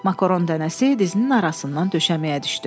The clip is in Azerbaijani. Makaron dənəsi dizinin arasından döşəməyə düşdü.